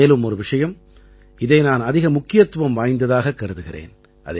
மேலும் ஒரு விஷயம் இதை நான் அதிக முக்கியத்துவம் வாய்ந்ததாகக் கருதுகிறேன்